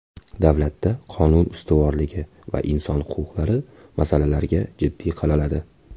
Davlatda qonun ustuvorligi va inson huquqlari masalalarga jiddiy qaraladi.